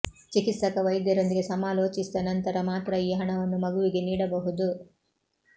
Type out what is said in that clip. ಚಿಕಿತ್ಸಕ ವೈದ್ಯರೊಂದಿಗೆ ಸಮಾಲೋಚಿಸಿದ ನಂತರ ಮಾತ್ರ ಈ ಹಣವನ್ನು ಮಗುವಿಗೆ ನೀಡಬಹುದು